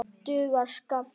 Dugar skammt.